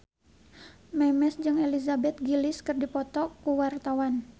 Memes jeung Elizabeth Gillies keur dipoto ku wartawan